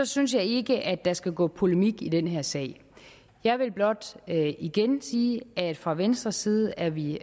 synes jeg ikke at der skal gå polemik i den her sag jeg vil blot igen sige at fra venstres side er vi